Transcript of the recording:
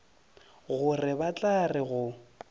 gore ba tla re go